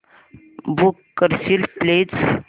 book करशील please